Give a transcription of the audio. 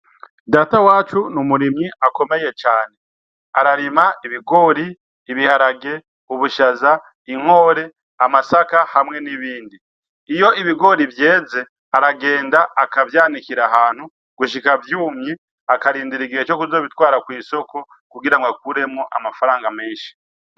Data wacu ni umurimyi akomeye cane, ararima ibigori, ibiharage, ubushaza, inkore, amasaka hamwe nibindi, iyo ibigori vyeze aragenda akavyanikira ahantu gushika vyumye akarindira igihe co kuzobitwara kw'isoko kugira ngo akuremwo amafaranga menshi.